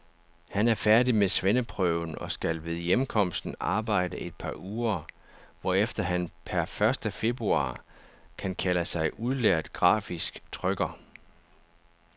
Han er færdig med svendeprøven og skal ved hjemkomsten arbejde et par uger, hvorefter han per første februar kan kalde sig udlært grafisk trykker.